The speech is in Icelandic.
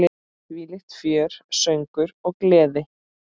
Þvílíkt fjör, söngur og gleði.